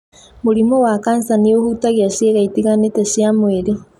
Mũrimũ wa kansa nĩ ũhutagia cĩĩga itiganĩte cia mwĩrĩ.